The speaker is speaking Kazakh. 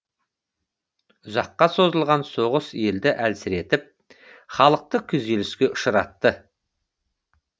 ұзаққа созылған соғыс елді әлсіретіп халықты күйзеліске ұшыратты